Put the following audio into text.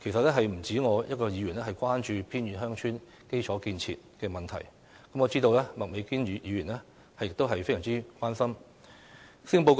其實不止我一位議員關注偏遠鄉村基礎設施的問題，我知道麥美娟議員也非常關心這個問題。